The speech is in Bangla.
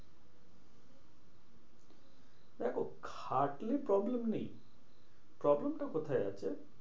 দেখো খাটনি problem নেই। problem টা কোথায় আছে?